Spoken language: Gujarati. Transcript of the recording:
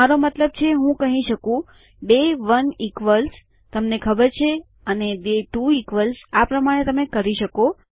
મારો મતલબ છે હું કહી શકું ડે 1 ઇક્વ્લ્સ તમને ખબર છે અને ડે 2 ઇક્વ્લ્સ આ પ્રમાણે તમે કરી શકો